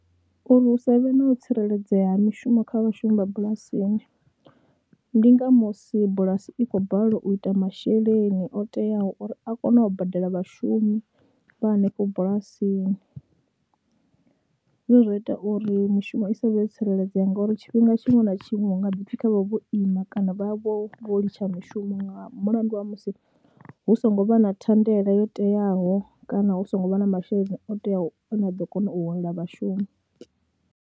Uri hu sa vhe na u tsireledzea ha mishumo kha vhashumi vha bulasini ndi nga musi bulasi i khou balelwa u ita masheleni o teaho uri a kone u badela vhashumi vha hanefho bulasini. Zwine zwa ita uri mishumo i sa vhe yo tsireledzea ngauri tshifhinga tshiṅwe na tshiṅwe hu nga ḓi pfhi kha vha vhe vho ima kana vha vhe vho vho litsha mishumo nga mulandu wa musi hu songo vha na thandela yo teaho kana hu songo vha na masheleni o teaho ane a ḓo kona u holela vhashumi.